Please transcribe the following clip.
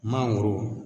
Mangoro